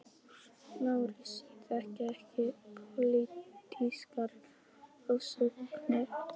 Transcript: LÁRUS: Ég þekki ekki pólitískar ofsóknir.